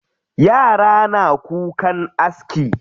Yara na kukan aski.